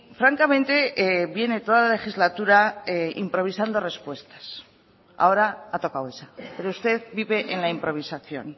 francamente viene toda la legislatura improvisando respuestas ahora ha tocado esa pero usted vive en la improvisación